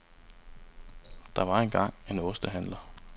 Der var en gang en ostehandler.